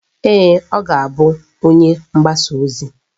Ee, ọ ga-bụ onye mgbasa ozi